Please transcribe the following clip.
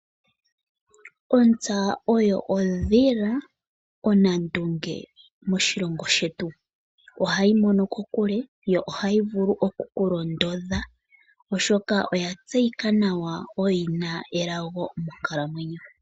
Ontsa oyo ondhila onandunge moshilongo shetu ohayi mono kokule yo ohayi vulu okukulondodha, oshoka oya tseyika nawa oyina elago monkalamwenyo.